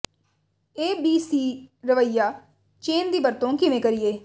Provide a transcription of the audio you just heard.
ਏ B C ਰਵੱਈਆ chain ਦੀ ਵਰਤੋਂ ਕਿਵੇਂ ਕਰੀਏ